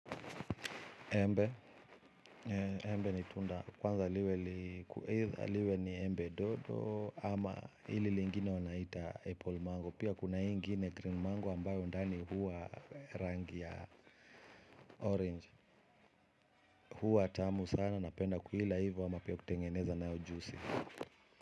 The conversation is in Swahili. Embe, embe ni tunda kwanza liwe ni embe dodo ama ile lingine wanaita apple mango. Pia kuna ingine green mango ambayo ndani huwa rangi ya orange. Huwa tamu sana napenda kuila hivo ama pia kutengeneza nao juisi.